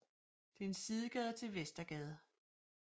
Det er en sidegade til Vestergade